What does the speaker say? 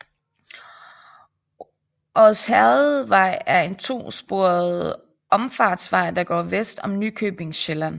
Odsherredvej er en to sporet omfartsvej der går vest om Nykøbing Sjælland